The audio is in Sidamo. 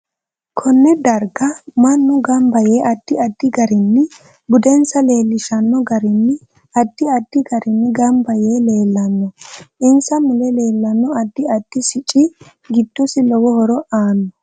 Konne darga mannu ganba yee addi addi garinni budensa leelishano garinni addi addi garinni ganba yee leelanno insa mule leelanno addi addi sicci giiddosi lowo horo aanno